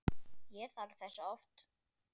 Ég þarf þess oft.